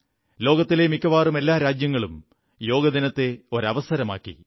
ലോകത്തിലെ മിക്കവാറും എല്ലാ രാജ്യങ്ങളും യോഗാദിനത്തെ ഒരു അവസരമാക്കി